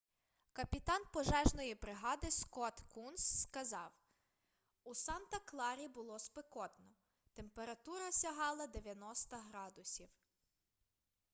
капітан пожежної бригади скотт кунс сказав у санта-кларі було спекотно температура сягала 90 градусів